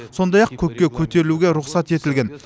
сондай ақ көкке көтерілуге рұқсат етілген